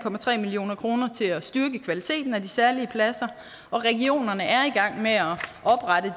million kroner til at styrke kvaliteten af de særlige pladser og regionerne er